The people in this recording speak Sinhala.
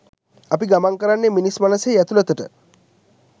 අපි ගමන් කරන්නේ මිනිස් මනසෙහි ඇතුළතට